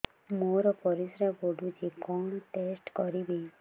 ମୋର ପରିସ୍ରା ପୋଡୁଛି କଣ ଟେଷ୍ଟ କରିବି